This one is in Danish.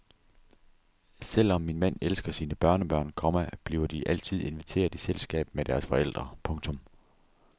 Selvom min mand elsker sine børnebørn, komma bliver de altid inviteret i selskab med deres forældre. punktum